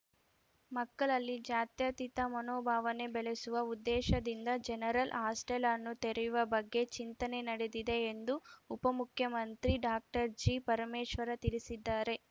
ಮಕ್ಕಳಲ್ಲಿ ಜಾತ್ಯತೀತ ಮನೋಭಾವನೆ ಬೆಳೆಸುವ ಉದ್ದೇಶದಿಂದ ಜನರಲ್‌ ಹಾಸ್ಟೆಲ್‌ ಅನ್ನು ತೆರೆಯುವ ಬಗ್ಗೆ ಚಿಂತನೆ ನಡೆದಿದೆ ಎಂದು ಉಪಮುಖ್ಯಮಂತ್ರಿ ಡಾಕ್ಟರ್ ಜಿಪರಮೇಶ್ವರ ತಿಳಿಸಿದ್ದಾರೆ